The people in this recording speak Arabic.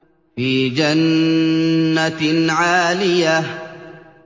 فِي جَنَّةٍ عَالِيَةٍ